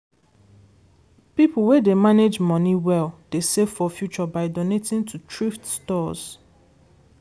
people wey dey manage money well dey save for future by donating to thrift stores.